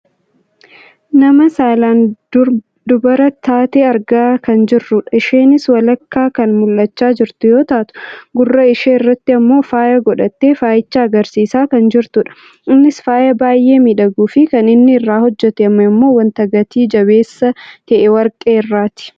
nama saalaan dubara taate argaa kan jirrudha. isheenis walakkaa kan mul'achaa jirtu yoo taatu, gurra ishee irratti ammoo faaya godhattee faayicha agarsiisaa kan jirtudha. innis faaya baayyee miidhaguufi kan inni irraa hojjatame ammoo wanta gatii jabeesssa ta'e warqee irraati.